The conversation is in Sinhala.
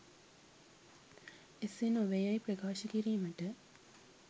එසේ නොවේ යැයි ප්‍රකාශ කිරීමට